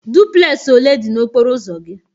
Duplex ole dị n'okporo ụzọ gị?